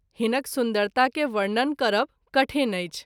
हिनक सुन्दरता के वर्णन करब कठिन अछि।